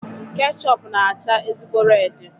Kechọpu na-acha ezigbo redi